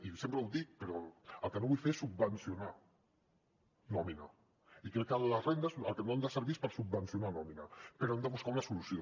i sempre ho dic però el que no vull fer és subvencionar nòmina i crec que les rendes per al que no han de servir és per subvencionar nòmina però hem de buscar una solució